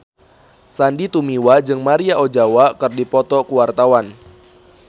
Sandy Tumiwa jeung Maria Ozawa keur dipoto ku wartawan